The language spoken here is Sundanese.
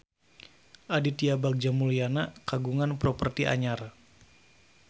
Aditya Bagja Mulyana kagungan properti anyar